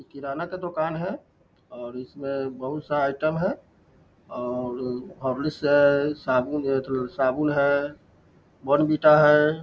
ई किराना का दुकान है और इसमे बहुत सा आइटम है और हॉर्लिक्स साबुन है एथो सा साबुन है बोर्नविटा है |